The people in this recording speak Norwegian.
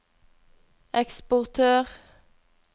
eksportør